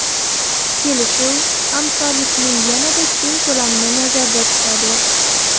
Kelishuv hamkorlikning yanada keng ko‘lamini nazarda tutadi.